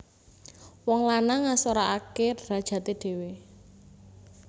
Wong lanang ngasorake drajate dhewe